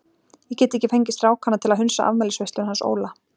Ég get ekki fengið strákana til að hunsa afmælisveisluna hans Óla.